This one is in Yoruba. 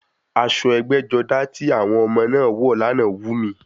Aṣọ ẹgbẹ́-jọdá ti àwọn ọmọ náà wọ̀ lánàá wù mí.